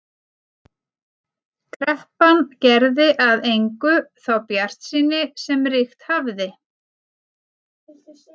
Kreppan gerði að engu þá bjartsýni sem ríkt hafði.